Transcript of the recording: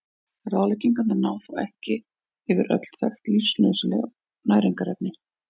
Ráðleggingarnar ná þó ekki yfir öll þekkt lífsnauðsynleg næringarefni.